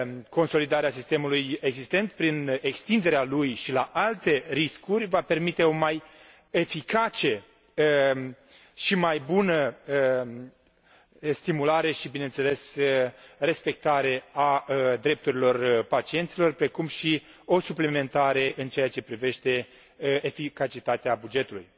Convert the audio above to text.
Consolidarea sistemului existent, prin extinderea lui și la alte riscuri, va permite o mai eficace și mai bună stimulare și, bineînțeles, respectare a drepturilor pacienților, precum și o suplimentare în ceea ce privește eficacitatea bugetului.